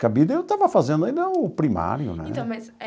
Cabide eu estava fazendo ainda o primário, né? Então, mas